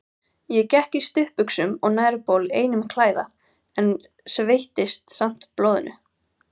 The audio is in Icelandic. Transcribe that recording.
Ég gekk í stuttbuxum og nærbol einum klæða, en sveittist samt blóðinu.